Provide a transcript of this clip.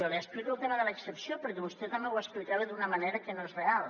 li explico el tema de l’excepció perquè vostè també ho explicava d’una manera que no és real